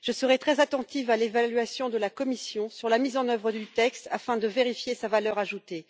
Je serai très attentive à l'évaluation de la Commission sur la mise en œuvre du texte afin de vérifier sa valeur ajoutée.